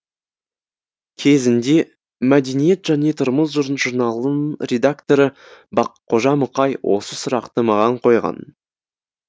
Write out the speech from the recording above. кезінде мәдениет және тұрмыс журналының редакторы баққожа мұқай осы сұрақты маған қойған